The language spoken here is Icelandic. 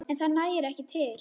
En það nægi ekki til.